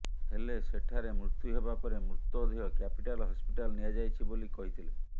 ହେଲେ ସେଠାରେ ମୃତ୍ୟୁ ହେବା ପରେ ମୃତଦେହ କ୍ୟାପିଟାଲ ହସ୍ପିଟାଲ ନିଆଯାଇଛି ବୋଲି କହିଥିଲେ